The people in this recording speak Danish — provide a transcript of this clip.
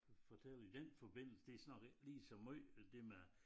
Fortælle i den forbindelse det så nok ikke lige så måj det med